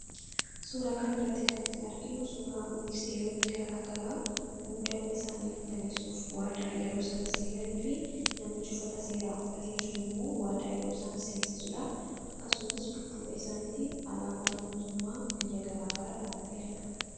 Suuraa kana irratti kan nuti arginu suuraa ministeeronni garaagaraa muudama isaanii mirkaneessuuf waadaa yeroo isaan seenanii fi namichi uffata seeraa uffatee jiru immoo waadaa yeroo isaan seensisuudha. Akkasumas, dudduuba isaaniitiin alaabaan mootummaa biyya garaagaraa dhaabbatee argama.